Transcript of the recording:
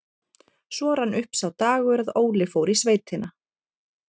Svo rann upp sá dagur að Óli fór í sveitina.